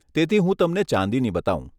તેથી હું તમને ચાંદીની બતાવું.